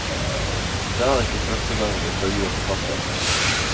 Det er ikke første gang vi intervjuer forfatteren.